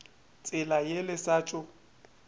tsela ye le sa tšo